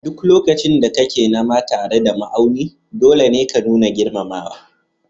A duk lokacin da kake nama tare da ma'auni, dole ne ka nuna girmamawa